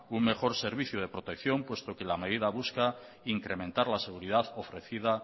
un mejor servicio de protección puesto que la medida busca incrementar la seguridad ofrecida